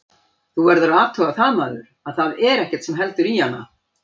Þú verður að athuga það maður, að þar er ekkert sem heldur í hana.